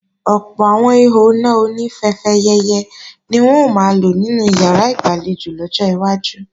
Ọ̀pọ̀ àwọn ihò iná oní fẹfẹyẹ̀yẹ̀ ni wọn ó máa lò nínú ìyàrá ìgbàlejò lọ́jọ́ iwájú